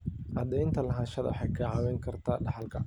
Cadaynta lahaanshaha waxay kaa caawin kartaa dhaxalka.